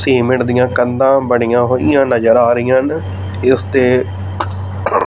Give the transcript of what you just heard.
cement ਦੀਆਂ ਕੰਧਾ ਬਣੀਆਂ ਹੋਈਆਂ ਨਜ਼ਰ ਆ ਰਹੀ ਹਨ ਇੱਸ ਤੇ--